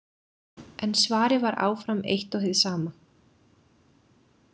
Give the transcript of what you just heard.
En svarið var áfram eitt og hið sama.